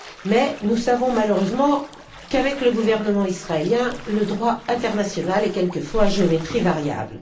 Mais nous savons malheureusement qu'avec le gouvernement israélien le droit international est quelquefois à géométrie variable.